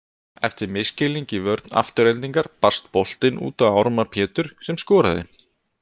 Eftir misskilning í vörn Aftureldingar barst boltinn út á Ármann Pétur sem skoraði.